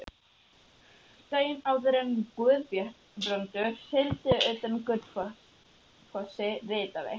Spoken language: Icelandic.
Daginn áður en Guðbrandur sigldi utan með Gullfossi, ritaði